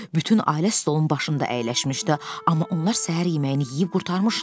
Bütün ailə stolun başında əyləşmişdi, amma onlar səhər yeməyini yeyib qurtarmışdılar.